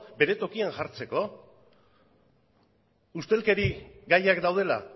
bere tokian jartzeko ustelkeri gaiak daudela